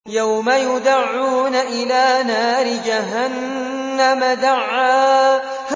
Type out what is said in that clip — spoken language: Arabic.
يَوْمَ يُدَعُّونَ إِلَىٰ نَارِ جَهَنَّمَ دَعًّا